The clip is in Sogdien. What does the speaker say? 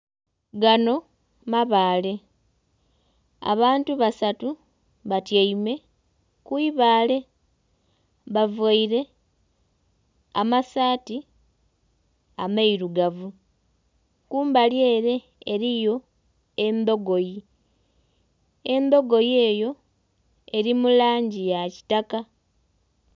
Gano mabaale abantu basatu batyaime ku ibaale bavaire amasaati amairugavu kumbali ere eriyo endogoyi, endogoyi eyo eri mulangi ya kitaka.